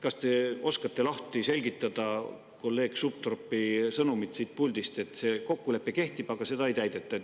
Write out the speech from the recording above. Kas te oskate selgitada kolleeg Sutropi siit puldist antud sõnumit, et see kokkulepe kehtib, aga seda ei täideta?